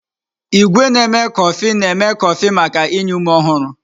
Igwé na-eme kọfị na-eme kọfị maka inye ume ọhụrụ.